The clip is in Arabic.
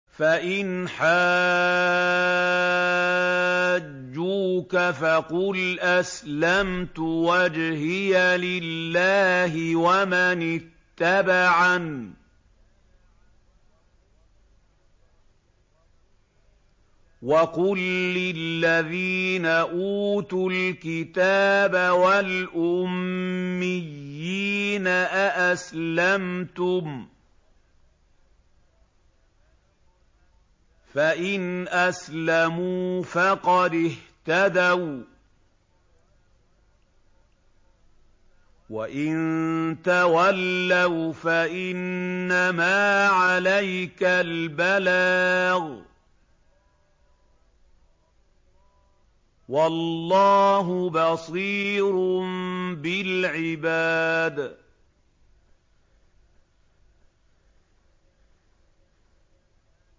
فَإِنْ حَاجُّوكَ فَقُلْ أَسْلَمْتُ وَجْهِيَ لِلَّهِ وَمَنِ اتَّبَعَنِ ۗ وَقُل لِّلَّذِينَ أُوتُوا الْكِتَابَ وَالْأُمِّيِّينَ أَأَسْلَمْتُمْ ۚ فَإِنْ أَسْلَمُوا فَقَدِ اهْتَدَوا ۖ وَّإِن تَوَلَّوْا فَإِنَّمَا عَلَيْكَ الْبَلَاغُ ۗ وَاللَّهُ بَصِيرٌ بِالْعِبَادِ